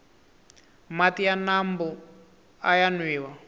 mati ya mambu aya nwiwa